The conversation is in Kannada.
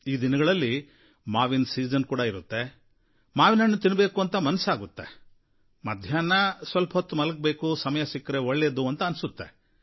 ಈ ದಿನಗಳಲ್ಲಿ ಮಾವಿನ ಸೀಸನ್ ಇರುತ್ತೆ ಮಾವಿನ ಹಣ್ಣು ತಿನ್ನಬೇಕು ಅಂತ ಮನಸ್ಸಾಗುತ್ತೆ ಮಧ್ಯಾಹ್ನದ ಹೊತ್ತು ಸ್ವಲ್ಪ ಹೊತ್ತು ಮಲಗಬೇಕು ಸಮಯ ಸಿಕ್ಕರೆ ಒಳ್ಳೆಯದು ಅನ್ಸುತ್ತೆ